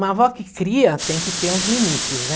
Uma avó que cria tem que ter uns limites, né?